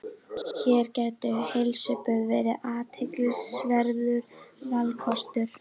Hér gætu heilsuböð verið athyglisverður valkostur.